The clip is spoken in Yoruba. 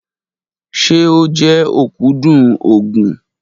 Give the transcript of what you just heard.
Ṣe o jẹ okudun oogun?